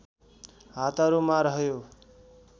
हातहरूमा रह्यो